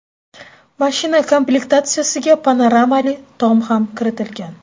Mashina komplektatsiyasiga panoramali tom ham kiritilgan.